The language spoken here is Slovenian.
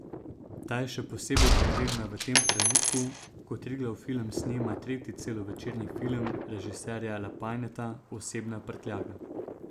Ta je še posebej potrebna v tem trenutku, ko Triglav film snema tretji celovečerni film režiserja Lapajneta Osebna prtljaga.